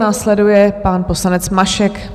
Následuje pan poslanec Mašek.